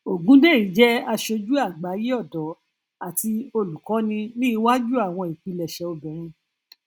ogundeyi jẹ aṣojú àgbáyé ọdọ àti olùkóni ní iwájú àwọn ìpilẹṣẹ obìnrin